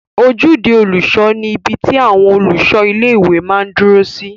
Ojúde olùṣọ ni ibi tí olùṣọ ilé-ìwé máa n dúró sí